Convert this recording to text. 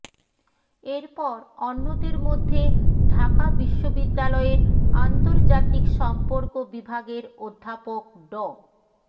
এরপর অন্যদের মধ্যে ঢাকা বিশ্ববিদ্যালয়ের আন্তর্জাতিক সম্পর্ক বিভাগের অধ্যাপক ড